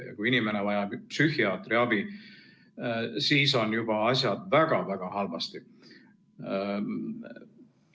Ja kui inimene vajab psühhiaatri abi, siis on asjad juba väga-väga halvasti.